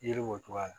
Yiri b'o cogoya la